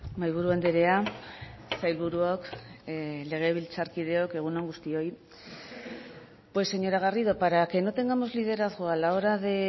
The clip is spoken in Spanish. mahaiburu andrea sailburuok legebiltzarkideok egun on guztioi pues señora garrido para que no tengamos liderazgo a la hora de